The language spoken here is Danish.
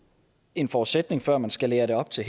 en forudsætning før man skalerer det op til